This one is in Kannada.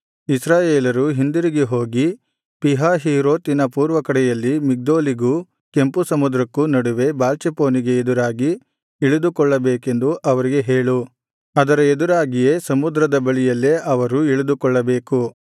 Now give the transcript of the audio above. ಇಸ್ರಾಯೇಲರು ಹಿಂದಿರುಗಿ ಹೋಗಿ ಪೀಹಹೀರೋತಿನ ಪೂರ್ವಕಡೆಯಲ್ಲಿ ಮಿಗ್ದೋಲಿಗೂ ಕೆಂಪು ಸಮುದ್ರಕ್ಕೂ ನಡುವೆ ಬಾಳ್ಚೆಫೋನಿಗೆ ಎದುರಾಗಿ ಇಳಿದುಕೊಳ್ಳಬೇಕೆಂದು ಅವರಿಗೆ ಹೇಳು ಅದರ ಎದುರಾಗಿಯೇ ಸಮುದ್ರದ ಬಳಿಯಲ್ಲೇ ಅವರು ಇಳಿದುಕೊಳ್ಳಬೇಕು